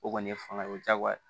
O kɔni ye fanga ye o diyagoya ye